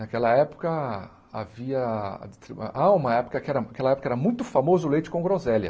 Naquela época havia... Ah ah, uma epoca que aquela época era muito famoso o leite com groselha.